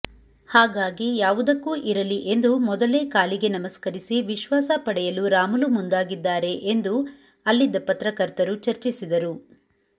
ಹಾಗಾಗಿ ಯಾವುದಕ್ಕೂ ಇರಲಿ ಎಂದು ಮೊದಲೇ ಕಾಲಿಗೆ ನಮಸ್ಕರಿಸಿ ವಿಶ್ವಾಸ ಪಡೆಯಲು ರಾಮುಲು ಮುಂದಾಗಿದ್ದಾರೆ ಎಂದು ಅಲ್ಲಿದ್ದ ಪತ್ರಕರ್ತರು ಚರ್ಚಿಸಿದರು